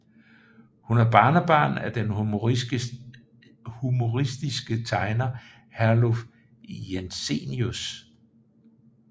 Hun er barnebarn af den humoristiske tegner Herluf Jensenius